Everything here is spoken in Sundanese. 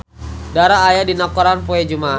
Dara aya dina koran poe Jumaah